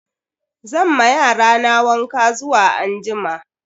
Zan ma yarana wanka zuwa anjima.